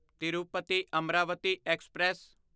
Tirupati Amaravati express